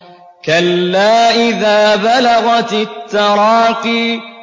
كَلَّا إِذَا بَلَغَتِ التَّرَاقِيَ